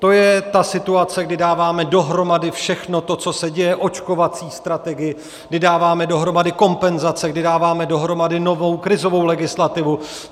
To je ta situace, kdy dáváme dohromady všechno to, co se děje, očkovací strategii, kdy dáváme dohromady kompenzace, kdy dáváme dohromady novou krizovou legislativu.